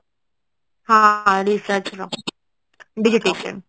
ହଁ research ର verification